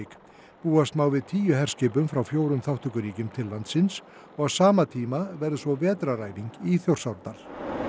búast má við tíu herskipum frá fjórum þátttökuríkjum til landsins og á sama tíma verður svo vetraræfing í Þjórsárdal